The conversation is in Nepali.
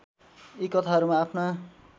यी कथाहरूमा आफ्ना